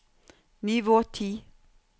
nivå ti